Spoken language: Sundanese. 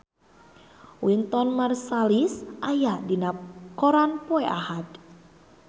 Wynton Marsalis aya dina koran poe Ahad